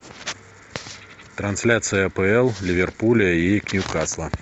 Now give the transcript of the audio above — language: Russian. трансляция апл ливерпуля и нью касла